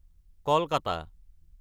Kolkata